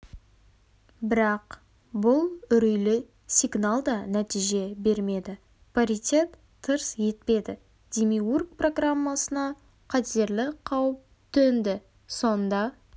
бірақ бұл үрейлі сигнал да нәтиже бермеді паритет тырс етпеді демиург программасына қатерлі қауіп төнді сонда